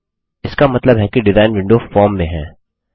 इसका मतलब है कि डिजाइन विंडो फॉर्म में है